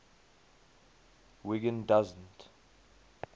wiggin doesn t